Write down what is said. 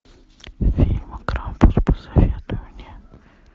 фильмы крампус посоветуй мне